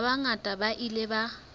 ba bangata ba ile ba